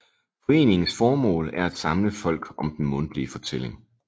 Foreningens formål er at samle folk om den mundtlige fortælling